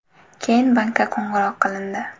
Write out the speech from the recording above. Keyin bankka qo‘ng‘iroq qilindi.